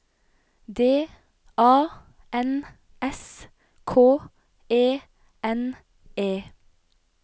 D A N S K E N E